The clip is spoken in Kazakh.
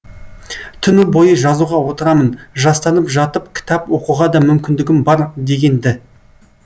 түні бойы жазуға отырамын жастанып жатып кітап оқуға да мүмкіндігім бар деген ді